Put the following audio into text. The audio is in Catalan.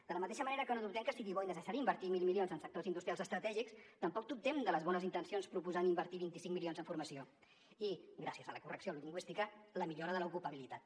de la mateixa manera que no dubtem que sigui bo i necessari invertir mil milions en sectors industrials estratègics tampoc dubtem de les bones intencions proposant invertir vint cinc milions en formació i gràcies a la correcció lingüística la millora de l’ocupabilitat